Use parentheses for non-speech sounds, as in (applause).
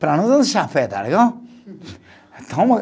Para nós é um chafé, tá legal? (unintelligible)